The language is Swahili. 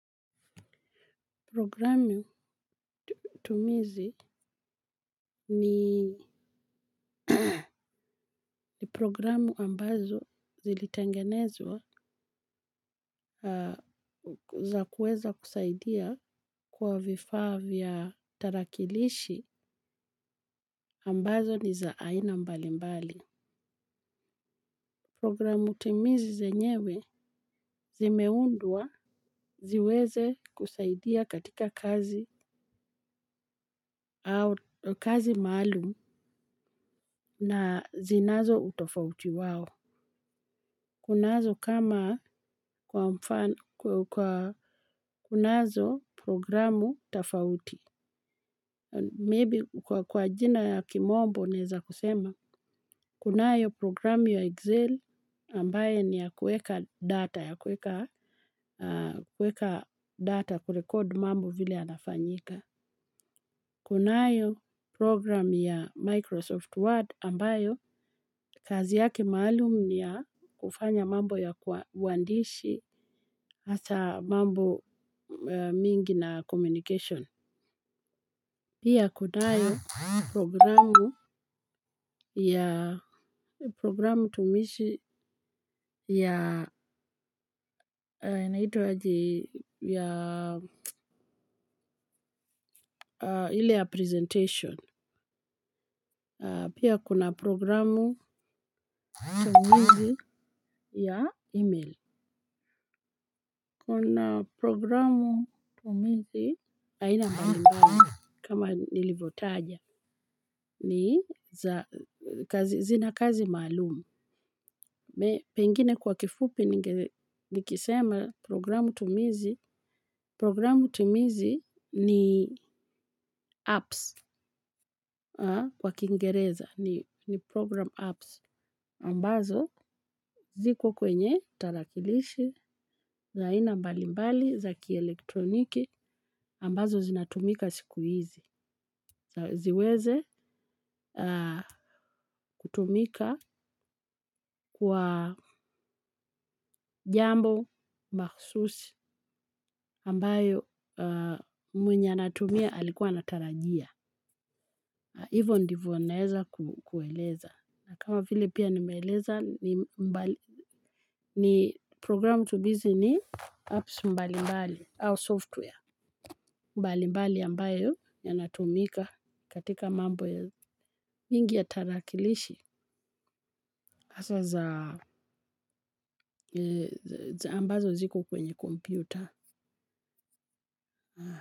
Programu tumizi ni programu ambazo zilitengenezwa za kuweza kusaidia kwa vifaa vya tarakilishi ambazo ni za aina mbali mbali. Programu tumizi zenyewe zimeundwa ziweze kusaidia katika kazi au kazi maalum na zinazo utofauti wao. Kunazo kama kwa kunazo programu tafauti, maybe kwa kwa jina ya kimombo neza kusema, kunayo programu ya Excel ambaye ni ya kueka data, ya kueka data kurekord mambo vile anafanyika. Kunayo program ya Microsoft Word ambayo kazi yake maalum ni ya kufanya mambo ya huandishi hasa mambo mingi na communication. Pia kunayo programu tumishi ya ili ya presentation. Pia kuna programu tumizi ya email. Kuna programu tumizi, aina mbalimbali kama nilivyotaja ni zina kazi maalumu. Pengine kwa kifupi nikisema programu tumizi. Programu tumizi ni apps kwa kingereza, ni program apps. Ambazo ziko kwenye tarakilishi za aina mbali mbali za kielektroniki ambazo zinatumika sikuhizi. Ziweze kutumika kwa jambo mahususi ambayo mwenye anatumia alikuwa anatarajia. Hivo ndivo naeza kueleza. Na kama vile pia nimeeleza ni programu tubizi ni apps mbali mbali au software. Mbali mbali ambayo yanatumika katika mambo ya mingi ya tarakilishi hasa za ambazo zikl kwenye komputer.